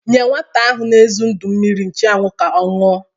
Nye nwata ahụ n'ezu ndu mmiri nchụanwụ ka ọ ñụa!